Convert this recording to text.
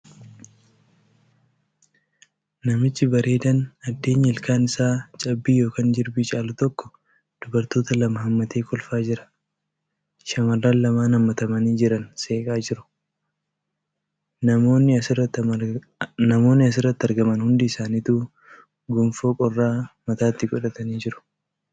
Namichi bareedaan addeenyi ilkaan isaa cabbii yookan jirbii caalu tokko dubartoota lama haammatee kolfaa jira. Shamarran lamaan haammatamanii jiran seeqaa jiru. Namoonni asirratti argaman hundi isaanituu gonfoo qorraa mataatti godhatanii jiru.